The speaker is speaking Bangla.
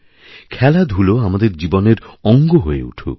খেলাধুলো আমাদের জীবনের অঙ্গ হয়েউঠুক